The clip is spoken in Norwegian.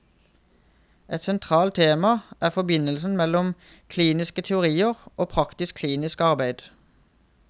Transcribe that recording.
Et sentralt tema er forbindelsen mellom kliniske teorier og praktisk klinisk arbeid.